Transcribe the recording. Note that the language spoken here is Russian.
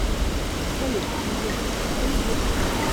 салют сильвестр сталлоне женщина